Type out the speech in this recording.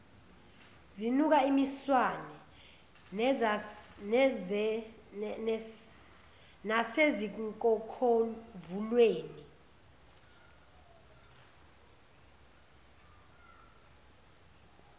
zinuka imiswane nasezinkokhovuleni